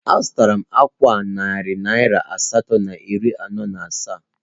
Azụtara m ákwà a narị naira asatọ na iri anọ na asaa